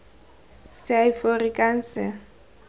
seaforikanse